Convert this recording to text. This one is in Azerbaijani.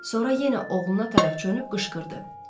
Sonra yenə oğluna tərəf çönüb qışqırdı.